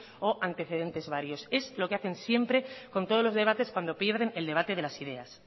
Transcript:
o antecedentes varios es lo que hacen siempre con todos los debates cuando pierden el debate de las ideas